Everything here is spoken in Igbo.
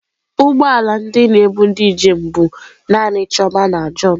ụgbọ ala ndị na-ebu ndi njem bu naanị chioma na john.